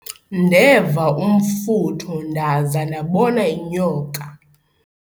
ndeva umfutho ndaza ndabona inyoka